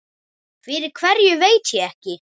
Fyrir hverju veit ég ekki.